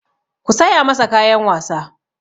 Ku saya masa kayan wasa!